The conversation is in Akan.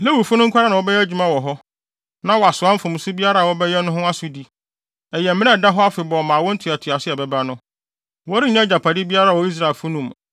Lewifo no nko ara na wɔbɛyɛ adwuma wɔ hɔ, na wɔasoa mfomso biara a wɔbɛyɛ no ho asodi. Ɛyɛ mmara a ɛda hɔ afebɔɔ ma awo ntoatoaso a ɛbɛba no. Wɔrennya agyapade biara wɔ Israelfo no mu.